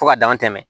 Fo ka dama tɛmɛ